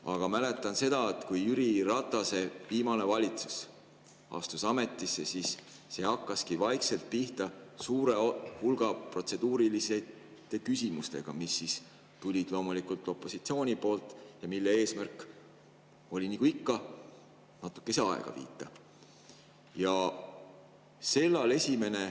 Aga mäletan seda, et kui Jüri Ratase viimane valitsus astus ametisse, siis see hakkaski vaikselt pihta suure hulga protseduuriliste küsimustega, mis tulid loomulikult opositsiooni poolt ja nende eesmärk nagu ikka oli natukese aega viita.